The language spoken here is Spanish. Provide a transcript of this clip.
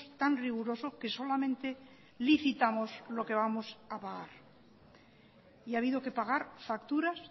tan rigurosos que solamente licitamos lo que vamos a pagar y ha habido que pagar facturas